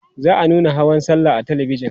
za'a nuna hawan sallah a talabijan